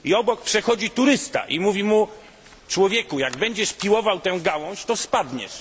Obok przechodzi turysta i mówi mu człowieku, jak będziesz piłował tę gałąź, to spadniesz.